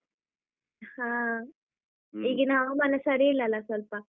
ಹಾ ಈಗಿನ ಹವಾಮಾನ ಸರಿ ಇಲ್ಲಲ್ಲ ಸ್ವಲ್ಪ.